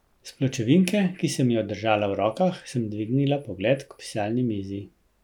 S pločevinke, ki sem jo držala v rokah, sem dvignila pogled k pisalni mizi.